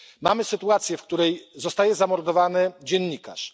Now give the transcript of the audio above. Mamy sytuację, w której zostaje zamordowany dziennikarz.